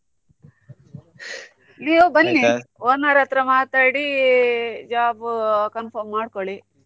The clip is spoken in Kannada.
ನೀವು ಬನ್ನಿ owner ಹತ್ರ ಮಾತಾಡಿ job confirm ಮಾಡ್ಕೊಳ್ಳಿ.